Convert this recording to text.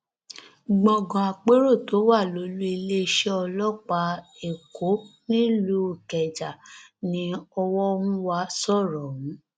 gbọngàn àpérò tó wà lólùiléeṣẹ ọlọpàá èkó nílùú ìkẹjà ni ọwọhúnwá sọrọ ọhún